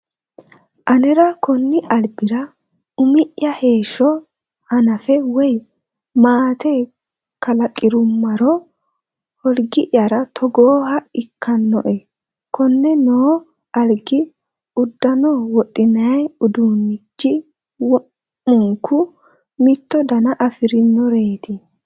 Anera konni albira umi'ya heeshsho hanafe woyi maate kalaqirummaro holgi'ya togooha ikkano'e. Konne noo algi, uddano wodhinayi uduunnichi wo'munku mitto dana afirinoreeti.